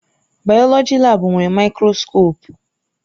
Bayoloji laabu nwere maịkroskopụ.